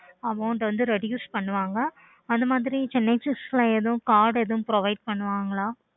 okay